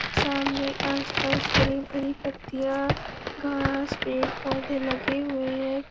सामने आसपास हरी-भरी पत्तियां घास पेड़ पोधे लगे हुए है।